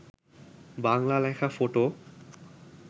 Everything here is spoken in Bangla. বাংলা লেখা ফটো